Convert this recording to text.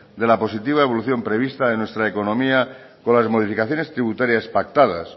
de la positiva evolución prevista en nuestra economía por las modificaciones tributarias pactadas